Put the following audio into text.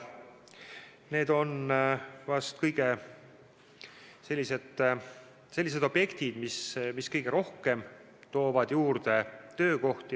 Need on vist sellised objektid, mis toovad kõige rohkem töökohti juurde.